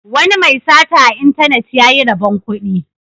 Wani mai sata a intanet ya yi rabon kudi.